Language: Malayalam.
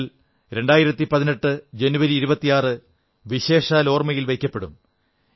എന്നാൽ ഈ 2018 ജനുവരി 26 വിശേഷാൽ ഓർമ്മയിൽ വയ്ക്കപ്പെടും